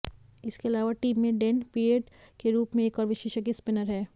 इसके अलावा टीम में डेन पिड्ट के रूप में एक और विशेषज्ञ स्पिनर हैं